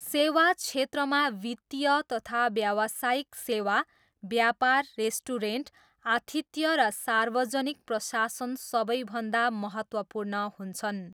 सेवा क्षेत्रमा वित्तीय तथा व्यावसायिक सेवा, व्यापार, रेस्टुरेन्ट, आतिथ्य र सार्वजनिक प्रशासन सबैभन्दा महत्त्वपूर्ण हुन्छन्।